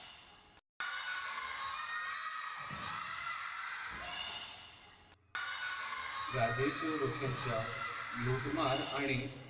राजेश रोशनच्या लूटमार आणि